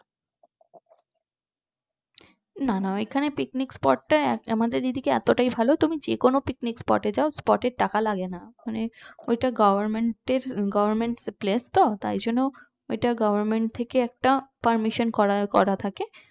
না না এখানে picnic spot টা আমাদের এদিকে এতটাই ভালো যে কোনো picnic spot এ যাও picnic spot এ টাকা লাগেনা মানে ওটা government এর government place তো তাই জন্য ওটা government থেকে একটা permission করাই করা থাকে